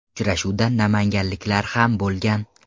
Uchrashuvda namanganliklar ham bo‘lgan.